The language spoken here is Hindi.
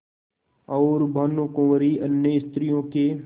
और भानुकुँवरि अन्य स्त्रियों के